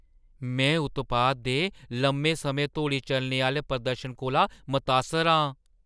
में उत्पाद दे लम्में समें धोड़ी चलने आह्‌ले प्रदर्शन कोला मतासर आं।